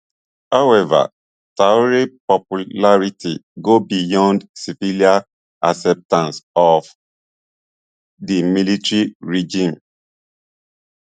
however traor popularity go beyond civilian acceptance of di military regime